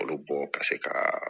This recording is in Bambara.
Olu bɔ ka se ka